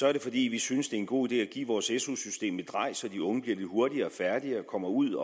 er det fordi vi synes det er en god idé at give vores su system et drej så de unge bliver lidt hurtigere færdige og kommer ud